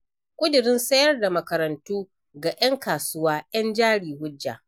Ƙudurin sayar da makarantu ga 'yan kasuwa 'yan jari hujja.